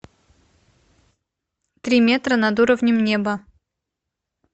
три метра над уровнем неба